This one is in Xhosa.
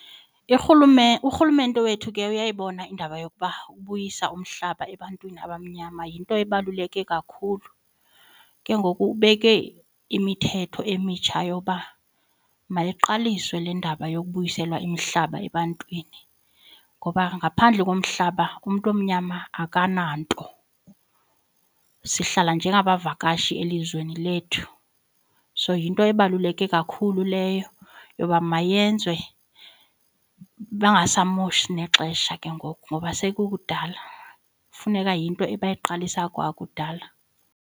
Urhulumente wethu ke uyayibona indaba yokuba ubuyisa umhlaba ebantwini abamnyama yinto ebaluleke kakhulu. Ke ngoku ubeke imithetho emitsha yoba mayiqaliswe le ndaba yokubuyiselwa imihlaba ebantwini ngoba ngaphandle komhlaba umntu omnyama akananto. Sihlala njengabavakashi elizweni lethu, so yinto ebaluleke kakhulu leyo yoba mayenzwe bangasamoshi nexesha ke ngoku ngoba sekukudala, funeka yinto abayiqalisa kwakudala.